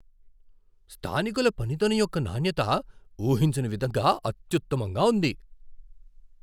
స్థానికుల పనితనం యొక్క నాణ్యత ఊహించని విధంగా అత్యుత్తమంగా ఉంది .